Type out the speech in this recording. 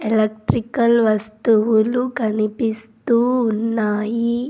Electrical వస్తువులు కనిపిస్తూ ఉన్నాయి.